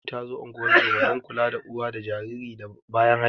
Mahaifiyar Mathew ta zo ungozoma (don kula da uwa da jariri da bayan haihuwa)